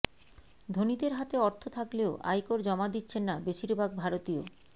ধনীদের হাতে অর্থ থাকলেও আয়কর জমা দিচ্ছেন না বেশিরভাগ ভারতীয়